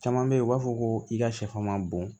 Caman bɛ yen u b'a fɔ ko i ka sɛfan man bon